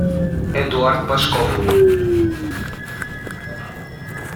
эдуард пашков